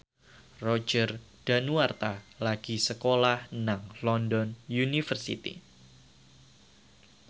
Roger Danuarta lagi sekolah nang London University